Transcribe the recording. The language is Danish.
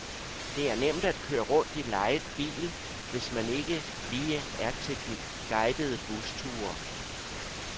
Det er nemt at køre rundt i lejet bil, hvis man ikke lige er til de guidede busture.